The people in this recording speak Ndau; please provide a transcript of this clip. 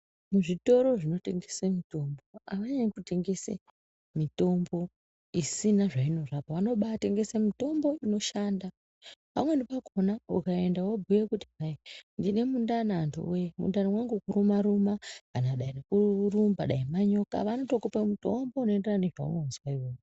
Zvitoro zvinotengese mutombo avanyanyi mitombo avanyanyi kutengese mitombo isina zvainorapa. Vanobatengese mitombo inoshanda, pamweni pakhona ukaenda wobhuya kuti hai ndine mundani antu woye mundani mwangu kuruma ruma kana dani kurumba dai manyoka vanotokupa mutombo unoenderana nezvaunozwa iwewe.